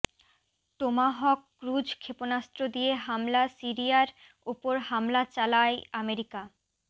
Tomahawk cruise ক্ষেপণাস্ত্র দিয়ে হামলা সিরিয়ার ওপর হামলা চালায় আমেরিকা